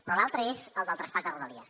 però l’altre és el del traspàs de rodalies